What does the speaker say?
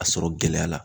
A sɔrɔ gɛlɛya la